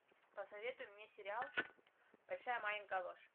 посоветуй мне сериал большая маленькая ложь